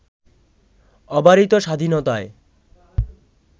অবারিত স্বাধীনতায়